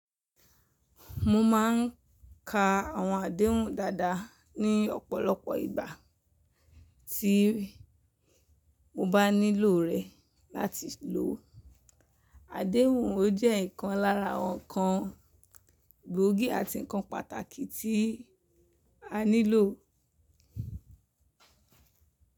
Mo ma n ka àwọn àdéhùn dáadáa ní ọ̀pọ̀lọpọ̀ ìgbà tí mo bá nílò rẹ̀ láti lò. Àdéhùn o jẹ́ ikan lára awon ǹkan gbòógì àti ǹkan pàtàkì tí a nílò.